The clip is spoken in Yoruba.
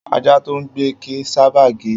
Ajá tó ń gbó kì í sábà gé.